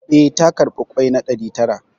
Eh, ta karɓi ƙwai na ɗari tara